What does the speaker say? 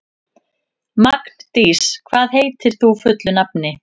Magndís, hvað heitir þú fullu nafni?